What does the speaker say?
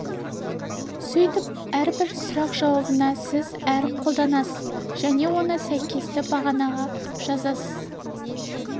сөйтіп әрбір сұрақ жауабына сіз әріп қолданасыз және оны сәйкесті бағанаға жазасыз